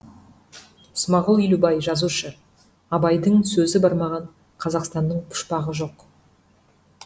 смағұл елубай жазушы абайдың сөзі бармаған қазақстанның пұшпағы жоқ